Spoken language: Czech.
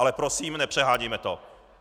Ale prosím, nepřehánějme to.